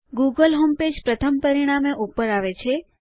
Google homepage પ્રથમ પરિણામે ઉપર આવે છે